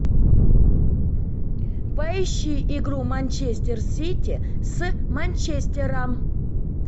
поищи игру манчестер сити с манчестером